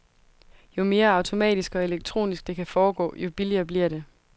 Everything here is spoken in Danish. Jo mere automatisk og elektronisk det kan foregå, jo billigere bliver det.